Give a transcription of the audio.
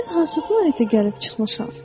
Mən hansı planetə gəlib çıxmışam?